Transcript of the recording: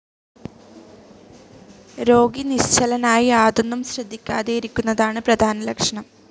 രോഗി നിശ്ചലനായി യാതൊന്നും ശ്രദ്ധിക്കാതെയിരിക്കുന്നതാണ് പ്രധാന ലക്ഷണം.